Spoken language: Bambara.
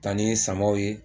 Taa ni samaw ye